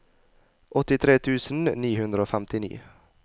åttitre tusen ni hundre og femtini